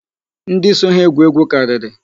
Ndị so ha egwu egwu karịrị.